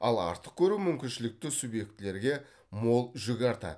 ал артық көру мүмкіншілікті субъектілерге мол жүк артады